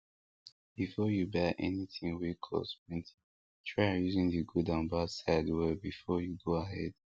before you buy anything wey cost plenty try reason the good and bad sides well before you go ahead